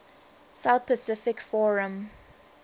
south pacific forum